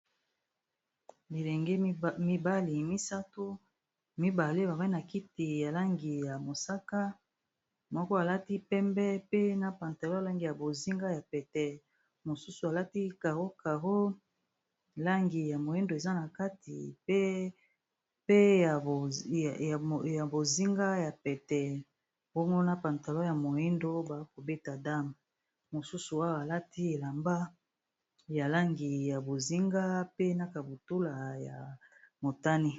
Bilenge mibale misato mibale babai na kiti ya langi ya mosaka moko alati pembe pe na pantalo ya langi ya bozinga ya pete mosusu alati caro caro langi ya moindo eza na kati pe ya bozinga ya pete bongo na pantalo ya moindo bakobeta dame mosusu oyo alati elamba ya langi ya bozinga pe na kabutula ya motani